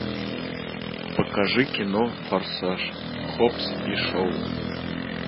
покажи кино форсаж хоббс и шоу